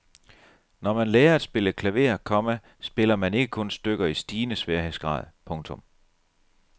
Når man lærer at spille klaver, komma spiller man ikke kun stykker i stigende sværhedsgrad. punktum